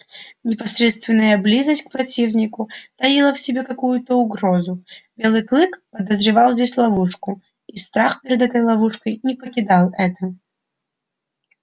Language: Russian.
непосредственная близость к противнику таила в себе какую то угрозу белый клык подозревал здесь ловушку и страх перед этой ловушкой не покидал это